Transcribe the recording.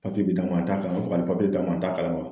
bɛ d'a ma a t'a kala o bɛ fɛ ka nin d'a ma a t'a kala